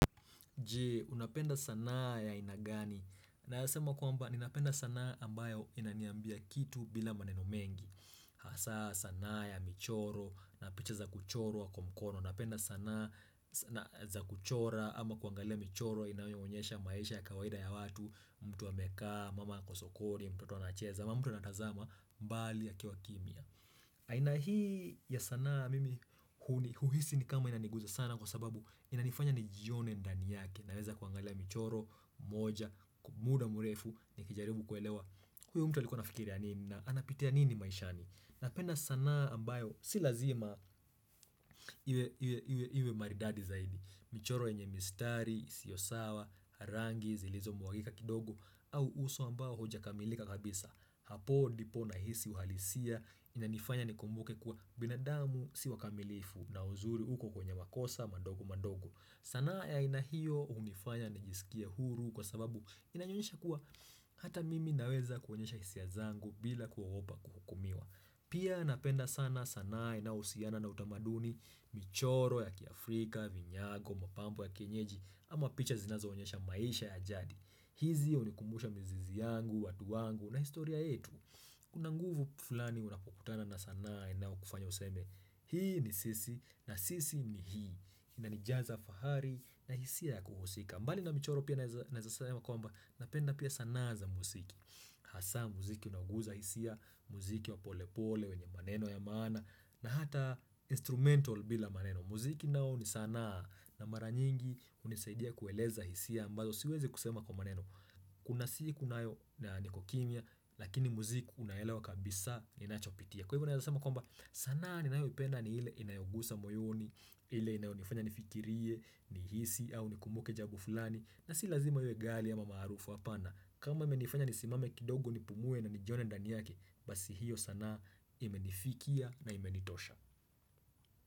Je, unapenda sanaa ya aina gani? Nasema kwamba, ninapenda sanaa ambayo inaniambia kitu bila maneno mengi. Hasa, sanaa ya michoro, mapicha za kuchorwa kwa mkono. Unapenda sanaa za kuchora, ama kuangalia michoro, inaonyonyesha maisha ya kawaida ya watu, mtu wa amekaa, mama kwa sokoni, mtoto wa anacheza, ama mtu anatazama, mbali akiwa kimya. Aina hii ya sanaa mimi, huhisi ni kama inaniguza sana kwa sababu inanifanya ni jione ndani yake. Naweza kuangalia michoro, moja, kwa muda mrefu nikijaribu kuelewa. Huyo mtu alikuwa anafikiri ya nini na anapitia nini maishani. Napenda sana ambayo si lazima iwe maridadi zaidi. Michoro yenye mistari, isiyo sawa, rangi, zilizo mwagika kidogo. Au uso ambao haujakamilika kabisa. Hapo ndipo nahisi uhalisia inanifanya nikumbuke kuwa binadamu siwa kamilifu na uzuri uko kwenye makosa madogo madogo. Sanaa ya aina hiyo hunifanya nijisikie huru kwa sababu inanionyesha kuwa hata mimi naweza kuonyesha hisia zangu bila kuogopa kuhukumiwa. Pia napenda sana sanaa na inayohusiana na utamaduni, michoro ya kiafrika, vinyago, mapambo ya kenyeji ama picha zinazo onyesha maisha ya jadi. Hizi hunikumbusha mizizi yangu, watu wangu na historia yetu. Kuna nguvu fulani unapokutana na sanae inayo kufanya useme Hii ni sisi na sisi ni hii inanijaza fahari na hisia ya kuhusika mbali na michoro pia nazasema kwa mba Napenda pia sana za muziki Hasa muziki unaoguza hisia Muziki wa pole pole wenye maneno ya maana na hata instrumental bila maneno Muziki nao ni sanaa na mara nyingi hunisaidia kueleza hisia ambazo siwezi kusema kwa maneno Kuna siku nayo na niko kimya Lakini muziku unaelewa kabisa Ninachopitia Kwa hivyo na yasama kwamba sana ni nayo ipenda ni ile inayogusa moyoni ile inayonifanya nifikirie nihisi au nikumbuke jambo fulani na si lazima iwe ghali ama marufu kama imenifanya nisimame kidogo Nipumue na nijone ndani yake Basi hiyo sana imenifikia na imenitosha.